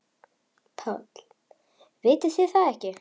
PÁLL: Vitið þið það ekki?